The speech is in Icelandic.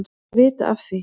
Þeir vita af því,